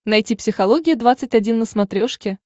найти психология двадцать один на смотрешке